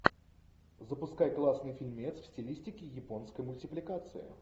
запускай классный фильмец в стилистике японской мультипликации